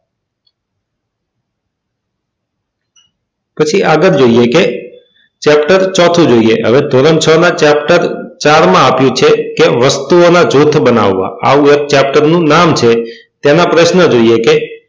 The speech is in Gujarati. પછી આગળ જોઈએ કે ચેપ્ટર ચોથું જોઈએ ધોરણ છ માં ચેપ્ટર ચાર માં આપ્યું છે કે વસ્તુઓના જૂથ બનાવવા આ ચેપ્ટરનું નામ છે તેના પ્રશ્નો જોઈએ કે,